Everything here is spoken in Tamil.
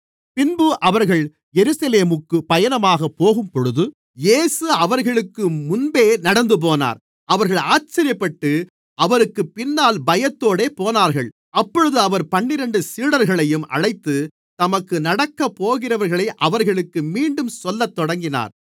பின்பு அவர்கள் எருசலேமுக்குப் பயணமாகப் போகும்பொழுது இயேசு அவர்களுக்கு முன்பே நடந்துபோனார் அவர்கள் ஆச்சரியப்பட்டு அவருக்குப் பின்னால் பயத்தோடு போனார்கள் அப்பொழுது அவர் பன்னிரண்டு சீடர்களையும் அழைத்து தமக்கு நடக்கப்போகிறவைகளை அவர்களுக்கு மீண்டும் சொல்லத்தொடங்கினார்